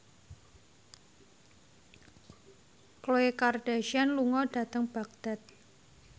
Khloe Kardashian lunga dhateng Baghdad